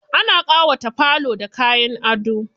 Ana ƙawata falo da kayan ado.